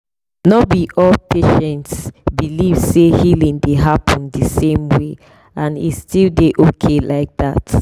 no be all patients believe say healing dey happen the same way and e still dey okay like that.